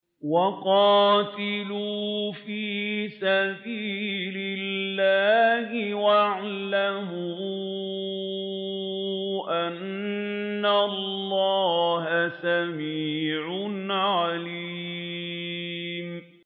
وَقَاتِلُوا فِي سَبِيلِ اللَّهِ وَاعْلَمُوا أَنَّ اللَّهَ سَمِيعٌ عَلِيمٌ